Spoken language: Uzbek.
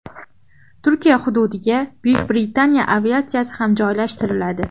Turkiya hududiga Buyuk Britaniya aviatsiyasi ham joylashtiriladi.